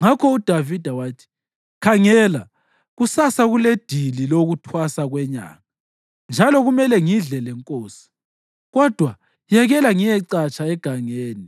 Ngakho uDavida wathi, “Khangela, kusasa kuledili lokuThwasa kweNyanga, njalo kumele ngidle lenkosi; kodwa yekela ngiyecatsha egangeni